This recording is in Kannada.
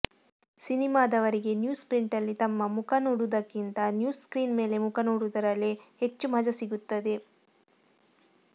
ಸಿನಿಮಾದವರಿಗೆ ನ್ಯೂಸ್ ಪ್ರಿಂಟಲ್ಲಿ ತಮ್ಮ ಮುಖ ನೋಡುವುದಕ್ಕಿಂತ ನ್ಯೂಸ್ ಸ್ಕ್ರೀನ್ ಮೇಲೆ ಮುಖ ನೋಡುವುದರಲ್ಲೇ ಹೆಚ್ಚು ಮಜಾ ಸಿಗುತ್ತದೆ